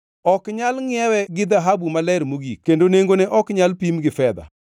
Ok nyal ngʼiewe gi dhahabu maler mogik kendo nengone ok nyal pim gi fedha.